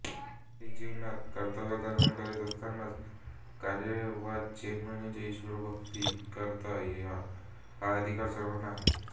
ऐहिक जीवनात कर्तव्यकर्मे करीत असतानाच कायावाचेमने ईश्र्वरभक्ती करता येते हा अधिकार सर्वांना आहे